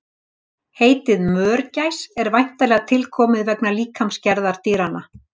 Heitið mörgæs er væntanlega tilkomið vegna líkamsgerðar dýranna.